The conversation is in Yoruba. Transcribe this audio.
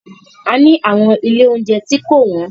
A ni àwọn ilé óunjẹ tí kò wọ́n.